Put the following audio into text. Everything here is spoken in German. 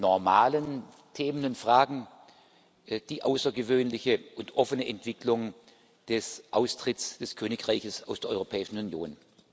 den normalen Themen und Fragen die außergewöhnliche und offene Entwicklung des Austritts des Königreichs aus der Europäischen Union.